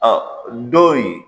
do in